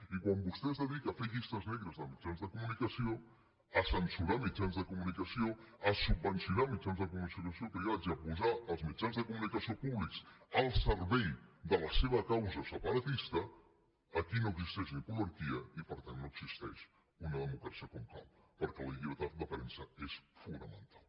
i quan vostè es dedica a fer llistes negres de mitjans de comunicació a censurar mitjans de comunicació a subvencionar mitjans de comunicació privats i a posar els mitjans de comunicació públics al servei de la seva causa separatista aquí no existeix poliarquia i per tant no existeix una democràcia com cal perquè la llibertat de premsa és fonamental